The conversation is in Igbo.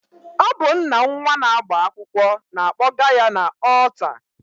Ọ bụ nna nnwa na-agba akwụkwọ na-akpọga ya n'ọlta